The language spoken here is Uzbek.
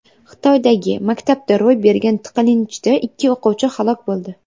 Xitoydagi maktabda ro‘y bergan tiqilinchda ikki o‘quvchi halok bo‘ldi.